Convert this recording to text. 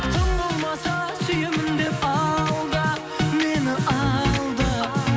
тым болмаса сүйемін деп алда мені алда